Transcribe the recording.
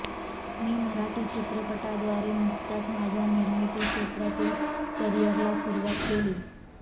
मी मराठी चित्रपटाद्वारे नुकत्याच माझ्या निर्मिती क्षेत्रातील करियरला सुरुवात केली